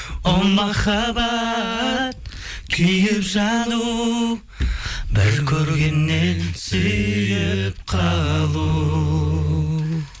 о махаббат күйіп жану бір көргеннен сүйіп қалу